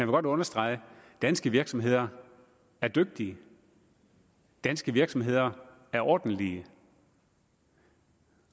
godt understrege at danske virksomheder er dygtige danske virksomheder er ordentlige